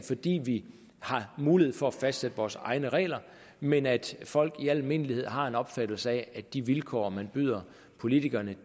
fordi vi har mulighed for at fastsætte vores egne regler men at folk i al almindelighed har den opfattelse at de vilkår man byder politikerne